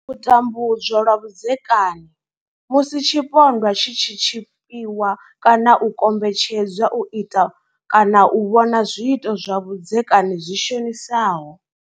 U tambudzwa lwa vhudzekani Musi tshipondwa tshi tshi tshipiwa kana u kombetshedzwa u ita kana u vhona zwiito zwa vhudzekani zwi shonisaho.